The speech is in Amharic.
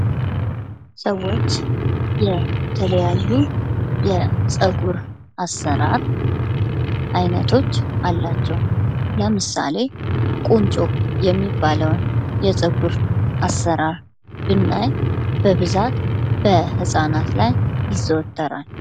ሰዎች የተለያዩ የፀጉር አሰራር ዐይነቶች አላቸው። ለምሳሌ ቁንጮ የሚባለውን የፀጉር አሰራር ብናይ በብዛት በህጻናት ላይ ይዘወተራል።